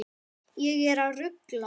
Ég er að rugla.